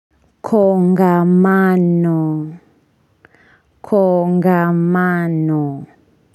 Kongamano. Kongamano.